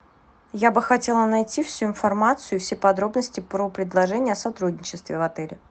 я бы хотела найти всю информацию все подробности про предложения о сотрудничестве в отеле